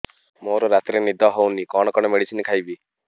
ମୋର ରାତିରେ ନିଦ ହଉନି କଣ କଣ ମେଡିସିନ ଖାଇବି